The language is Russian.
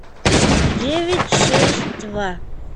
девять шесть два